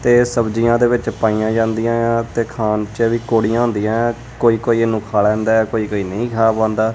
ਤੇ ਸਬਜ਼ੀਆਂ ਦੇ ਵਿੱਚ ਪਾਈਆਂ ਜਾਂਦੀਆਂ ਤੇ ਖਾਣ ਚ ਵੀ ਕੌੜੀਆਂ ਹੁੰਦੀਆਂ ਕੋਈ ਕੋਈ ਇਹਨੂੰ ਖਾ ਲੈਂਦਾ ਹੈ ਕੋਈ ਕੋਈ ਨਹੀਂ ਖਾ ਪਾਂਦਾਂ।